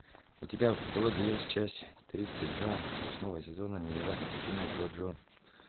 у тебя в каталоге есть часть тридцать два восьмого сезона невероятные приключения джоджо